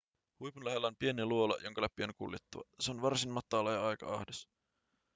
huipun lähellä on pieni luola jonka läpi on kuljettava se on varsin matala ja aika ahdas